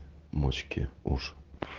мочки уш